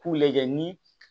K'u lajɛ ni